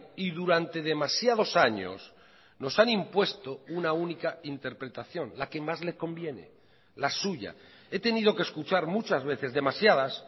y durante demasiados años nos han impuesto una única interpretación la que más le conviene la suya he tenido que escuchar muchas veces demasiadas